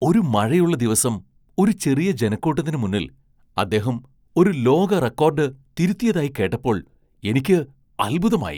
ഒരു മഴയുള്ള ദിവസം ഒരു ചെറിയ ജനക്കൂട്ടത്തിന് മുന്നിൽ അദ്ദേഹം ഒരു ലോക റെക്കോർഡ് തിരുത്തിയതായി കേട്ടപ്പോൾ എനിക്ക് അത്ഭുതമായി.